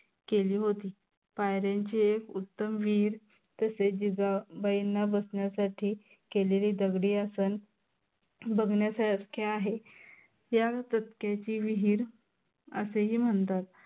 केली होती. पायऱ्यांची एक उत्तम विहीर तेश जिजाबाईंना बसण्यासाठी केलेली दगडी आसन बघन्यासारखे आहे. या टप्प्याची ची विहीर असेही म्हणतात.